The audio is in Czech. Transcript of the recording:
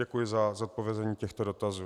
Děkuji za zodpovězení těchto dotazů.